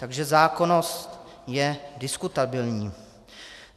Takže zákonnost je diskutabilní.